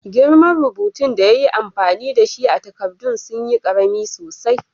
Girman rubutun da ya yi amfani da shi a'takadan sun yi karemi sosai.